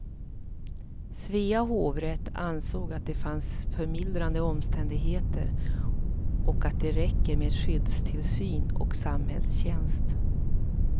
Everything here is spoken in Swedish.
Svea hovrätt ansåg att det fanns förmildrande omständigheter och att det räcker med skyddstillsyn och samhällstjänst.